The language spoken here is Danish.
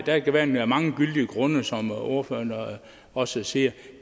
der kan være mange gyldige grunde som ordføreren også siger